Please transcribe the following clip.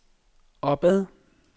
opad